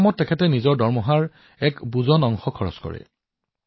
এনেদৰে যোগনাথন জীয়ে কিমান যে বৃক্ষপুলি ৰোপণ কৰিছে তাৰ হিচাপ নাই